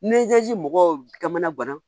Nizeri mɔgɔw ka mana bana